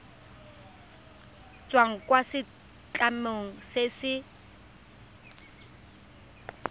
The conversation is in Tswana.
tswang kwa setlamong se se